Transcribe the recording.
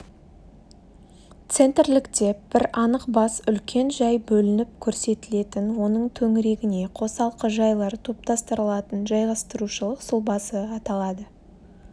центрлік деп бір анық бас үлкен жай бөлініп көрсетілетін оның төңірегіне қосалқы жайлар топтастырылатын жайғастырушылық сұлбасы аталады